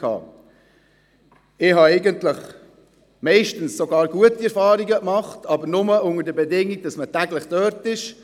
Ich habe eigentlich meist sogar gute Erfahrungen gemacht, aber nur unter der Bedingung, dass man täglich dort ist.